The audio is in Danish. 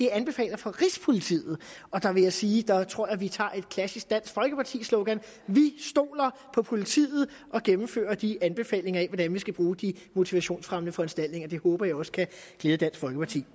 anbefalinger fra rigspolitiet og der vil jeg sige jeg tror at vi tager et klassisk dansk folkeparti slogan vi stoler på politiet og gennemfører de anbefalinger af hvordan vi skal bruge de motivationsfremmende foranstaltninger det håber jeg også kan glæde dansk folkeparti